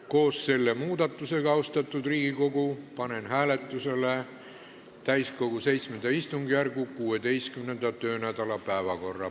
Koos selle muudatusega, austatud Riigikogu, panen hääletusele täiskogu VII istungjärgu 16. töönädala päevakorra.